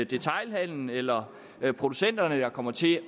detailhandelen eller producenterne der kommer til